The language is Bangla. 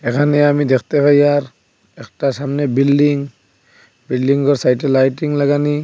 এখানে আমি দেখতে পাই আর একটা সামনে বিল্ডিং বিল্ডিং -ওর সাইট -এ লাইটিং লাগানি।